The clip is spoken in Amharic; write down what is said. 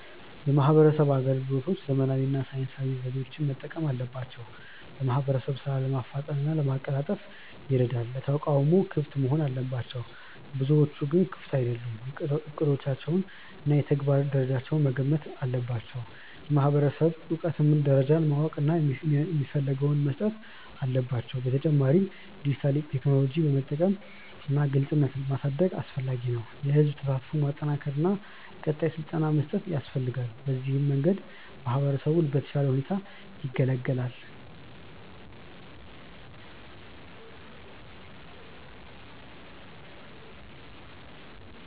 የማህበረሰብ አገልግሎቶች ዘመናዊ እና ሳይንሳዊ ዘዴዎችን መጠቀም አለባቸው። በማህበረሰብ ሥራ ለማፍጠን እና ለማቀላጠፍ ይረዳል። ለተቃውሞ ክፍት መሆን አለባቸው፤ ብዙዎቹ ግን ክፍት አይደሉም። እቅዶቻቸውን እና የተግባር ደረጃውን መገምገም አለባቸው። የማህበረሰብ እውቀት ደረጃን ማወቅ እና የሚፈልገውን መስጠት አለባቸው። በተጨማሪም ዲጂታል ቴክኖሎጂ መጠቀም እና ግልጽነት ማሳደግ አስፈላጊ ነው። የህዝብ ተሳትፎን ማጠናከር እና ቀጣይ ስልጠና መስጠት ያስፈልጋል። በዚህ መንገድ ማህበረሰቡ በተሻለ ሁኔታ ይገለገላል።